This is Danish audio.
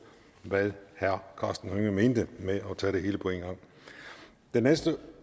hvad herre karsten hønge mente med at tage det hele på en gang den næste